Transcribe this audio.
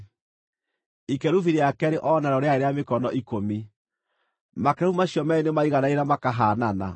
Ikerubi rĩa keerĩ o narĩo rĩarĩ rĩa mĩkono ikũmi; makerubi macio meerĩ nĩmaiganaine na makahaanana.